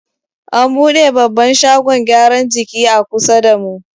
An buɗe babban shagon gyaran jiki a kusa da mu.